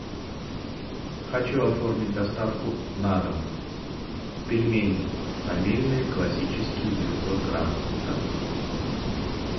хочу оформить доставку на дом пельмени фамильные классические девятьсот грамм